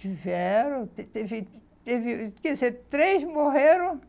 Tiveram, te teve, teve, quero dizer, três morreram